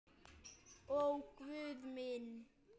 Ó Guð minn.